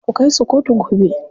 Ku kai su kotu gobe.